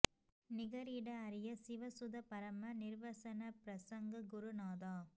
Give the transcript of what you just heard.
நிகர் இட அரிய சிவசுத பரம நிர்வசன ப்ரசங்க குரு நாதா